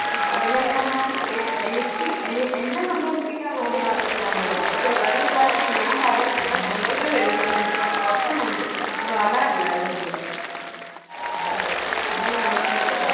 പാടല്ന്ന് പറഞ്ഞാൽ എ~എനിക്ക് എ~എന്നെ സന്തോഷിപ്പിക്കാൻ വേണ്ടി മാത്രമേ ഞാൻ പാടൂ പക്ഷേ വേറെ എല്ലാവർക്കും ഞാൻ പാടുന്ന കേട്ടാൽ സന്തോഷം വരില്ല എന്ന് വെച്ചാൽ ഉറക്കം ഞാൻ പാടാറില്ല അവരുടെ മുൻപിന്ന് അഹ് ഇങ്ങനെയാണ്